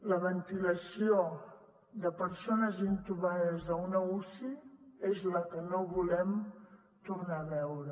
la ventilació de persones intubades a una uci és la que no volem tornar a veure